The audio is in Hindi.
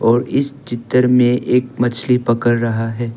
और इस चित्र में एक मछली पकड़ रहा है।